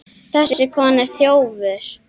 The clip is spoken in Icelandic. Þessi kona er þjófur.